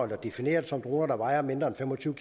defineret som droner der vejer mindre end fem og tyve